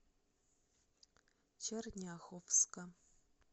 черняховска